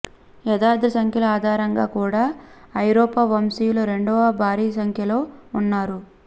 యథార్థ సంఖ్యల ఆధారంగా కూడా ఐరోపా వంశీయుల రెండవ భారీసంఖ్యలో ఉన్నారు